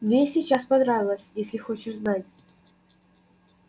мне и сейчас понравилось если хочешь знать